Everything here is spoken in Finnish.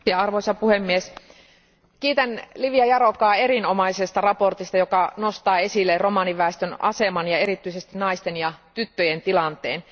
Arvoisa puhemies, kiitän Lívia Járókaa erinomaisesta mietinnöstä, joka nostaa esille romaniväestön aseman ja erityisesti naisten ja tyttöjen tilanteen.